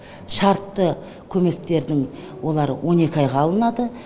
шартты көмектердің олар он екі айға алынады